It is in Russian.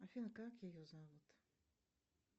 афина как ее зовут